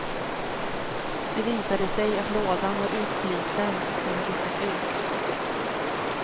Det visade sig att lådan var utsliten, och den byttes ut.